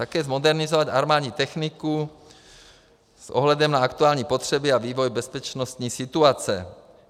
Také zmodernizovat armádní techniku s ohledem na aktuální potřeby a vývoj bezpečnostní situace.